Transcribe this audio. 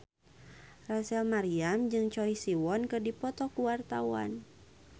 Rachel Maryam jeung Choi Siwon keur dipoto ku wartawan